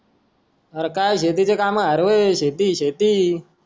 अरे काय शेतीची काम काय शेती शेती